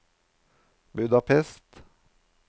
Budapest